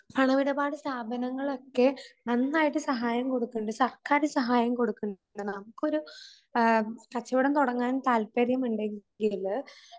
പണമിടപാട് സ്ഥാപനങ്ങളൊക്കെ നന്നായിട്ട് സഹായം കൊടുക്കുന്നുണ്ട് സർക്കാര് സഹായം കൊടുക്കുന്നുണ്ട്. നമുക്കൊരു ആം കച്ചവടം തുടങ്ങാൻ താല്പര്യമുണ്ടെങ്കില്